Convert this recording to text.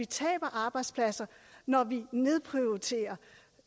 tabe arbejdspladser når vi nedprioriterer